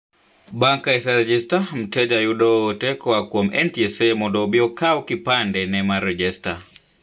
Bang' ka iserejesta, mteja jayudo oote koaa kuom NTSA mondo obii okaw kipande ne mar rejesta.